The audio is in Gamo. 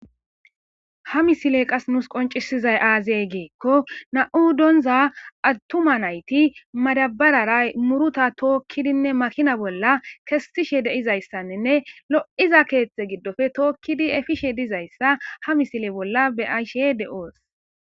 Ha misile qas nuus qoncisizay aazey geekko na7u doonza attuma nayti madabararay muruta tookkidinne makina bolla kessishe de7izayssanninne lo7iza keethetze giddofe tookkidi efishe dizayssa ha misile bolla beaishe de7oos.